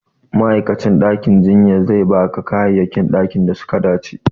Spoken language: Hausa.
Ma'aikacin ɗakin jinya sai ba ka kayayyakin da suka dace